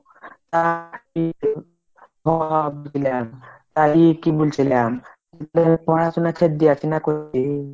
তা বুঝলা আর এ কি বলছিলাম পড়াশুনা ছেড়ে দিয়েছিস না করলি